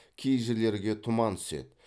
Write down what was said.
кей жерлерге тұман түседі